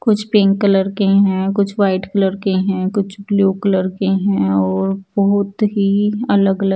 कुछ pink colour के हैं कुछ व्हाइट कलर के हैं कुछ ब्लू कलर के हैं और बहुत ही अलग अलग--